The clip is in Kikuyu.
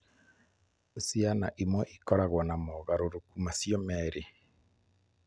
Ciana imwe nĩ ikoragwo na mogarũrũku macio merĩ.